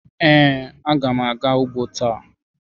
Ee, agam aga ugbo ta.